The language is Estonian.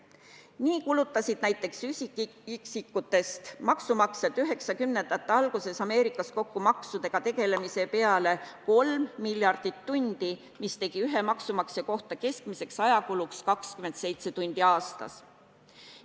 Nii kulutasid näiteks üksikisikutest maksumaksjad 1990-ndate alguses Ameerikas kokku maksudega tegelemise peale 3 miljardit tundi, mis tegi ühe maksumaksja kohta keskmiseks ajakuluks 27 tundi aastas.